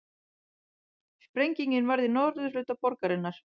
Sprengingin varð í norðurhluta borgarinnar